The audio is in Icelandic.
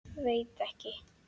Veit ekki.